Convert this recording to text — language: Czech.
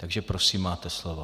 Takže prosím, máte slovo.